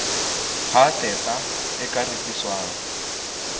ha tehpa e ka rekiswang